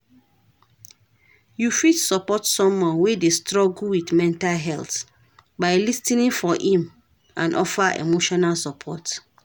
You fit support someone wey dey struggle with mental health by lis ten ing for im and offer emotional support.